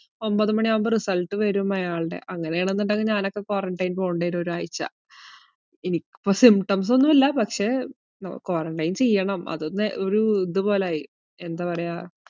ഒൻപത് മണിയാകുമ്പോ result വരും അയാൾടെ. അങ്ങനെയാണെന്നുണ്ടെങ്കിൽ ഞാനൊക്കെ quarantine പോകണ്ടിവരും ഒരാഴ്ച. എനിക്കിപ്പോ symptoms ഒന്നൂല്ല, പക്ഷെ ഏർ quarantine ചെയ്യണം അതൊന്ന് ഒരു ഇതുപോലെയായി, എന്താ പറയാ